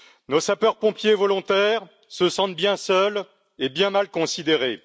Nos sapeurs pompiers volontaires se sentent bien seuls et bien mal considérés.